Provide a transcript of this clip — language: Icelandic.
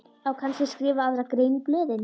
Á kannski að skrifa aðra grein í blöðin?